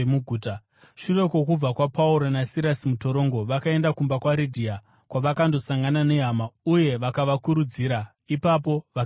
Shure kwokubuda kwaPauro naSirasi mutorongo, vakaenda kumba kwaRidhia, kwavakandosangana nehama uye vakavakurudzira. Ipapo vakaenda havo.